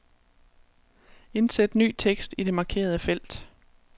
Indsæt ny tekst i det markerede felt.